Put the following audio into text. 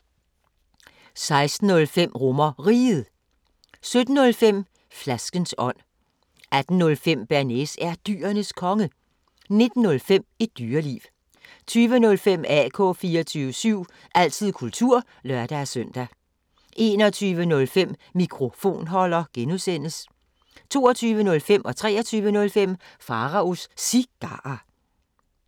16:05: RomerRiget 17:05: Flaskens ånd 18:05: Bearnaise er Dyrenes Konge 19:05: Et Dyreliv 20:05: AK 24syv – altid kultur (lør-søn) 21:05: Mikrofonholder (G) 22:05: Pharaos Cigarer 23:05: Pharaos Cigarer